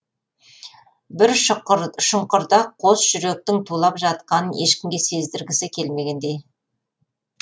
бір шұңқырда қос жүректің тулап жатқанын ешкімге сездіргісі келмегендей